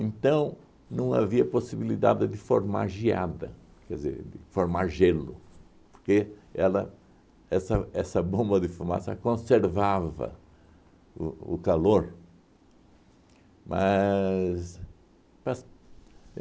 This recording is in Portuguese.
Então, não havia possibilidade de formar geada, quer dizer, de forma gelo, porque ela essa essa bomba de fumaça conservava o o calor. Mas pas